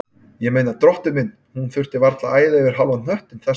Ég meina, drottinn minn, hún þurfti varla að æða yfir hálfan hnöttinn þess vegna.